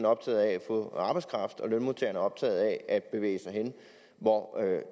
optaget af at få arbejdskraft og lønmodtagerne er optaget af at bevæge sig hen hvor